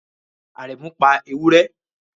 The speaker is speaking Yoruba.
Aremu pa ewure